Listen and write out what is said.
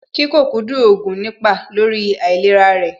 Kíkókúndù oògùn nípa lórí àìlera rẹ̀